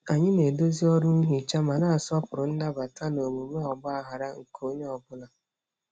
Anyị na-edozi ọrụ nhicha ma na-asọpụrụ nnabata na omume ọgbaghara nke onye ọ bụla.